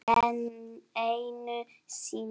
Enn einu sinni.